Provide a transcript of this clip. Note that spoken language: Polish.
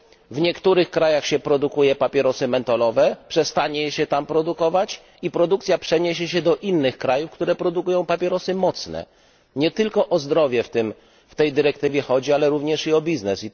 W niektórych krajach, w których produkuje się papierosy mentolowe, przestanie się je produkować, a ich produkcja przeniesie się do innych krajów, które produkują papierosy mocne. Nie tylko o zdrowie w tej dyrektywie chodzi, ale również i o biznes.